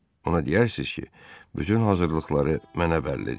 Ona deyərsiz ki, bütün hazırlıqları mənə bəllidir.